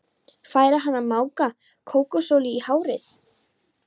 Færi hann að maka kókosolíu í hárið?